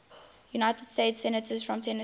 united states senators from tennessee